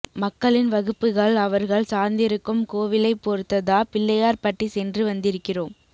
மக்களின் வகுப்புகள் அவர்கள் சார்ந்திருக்கும் கோவிலைப் பொறுத்ததா பிள்ளையார் பட்டி சென்று வந்திருக்கிறோம்